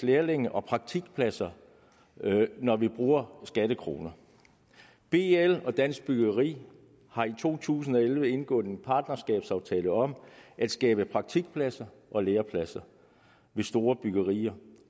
lærlinge og praktikpladser når vi bruger skattekroner bl og dansk byggeri har i to tusind og elleve indgået en partnerskabsaftale om at skabe praktikpladser og lærepladser ved store byggerier